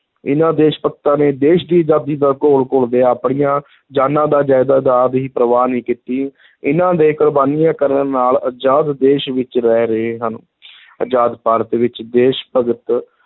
ਇਨ੍ਹਾਂ ਦੇਸ਼-ਭਗਤਾਂ ਨੇ ਦੇਸ਼ ਦੀ ਆਜ਼ਾਦੀ ਦਾ ਘੋਲ ਘੁਲਦਿਆਂ ਆਪਣੀਆਂ ਜਾਨਾਂ ਦਾ ਦੀ ਪ੍ਰਵਾਹ ਨਹੀਂ ਕੀਤੀ ਇਨ੍ਹਾਂ ਦੇ ਕੁਰਬਾਨੀਆਂ ਕਰਨ ਨਾਲ ਆਜ਼ਾਦ ਦੇਸ਼ ਵਿਚ ਰਹਿ ਰਹੇ ਹਨ ਅਜ਼ਾਦ ਭਾਰਤ ਵਿਚ ਦੇਸ਼-ਭਗਤ